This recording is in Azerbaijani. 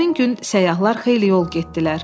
Həmin gün səyyahlar xeyli yol getdilər.